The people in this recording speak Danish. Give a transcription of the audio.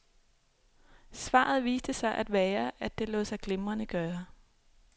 Svaret viste sig at være, at det lod sig glimrende gøre.